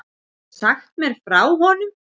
Geturðu sagt mér frá honum?